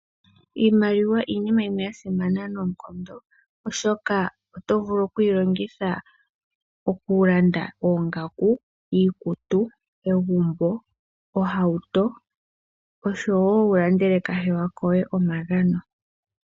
Iimaliwa iinima yimwe yasimana noonkondo oshoka oto vulu oku yilongitha oku landa oongaku, iikutu, egumbo, ohauto osho wo wulandele kahewa koye omagano.